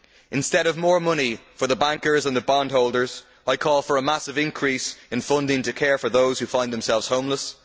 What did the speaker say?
Instead of more money for the bankers and the bond holders, I call for a massive increase in funding to care for those who find themselves homeless.